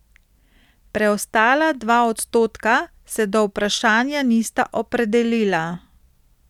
Preostala dva odstotka se do vprašanja nista opredelila.